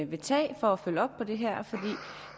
vil tage for at følge op på det her